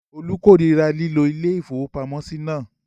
Olú korira lílo ilé-ìfowópamọ́sí náà?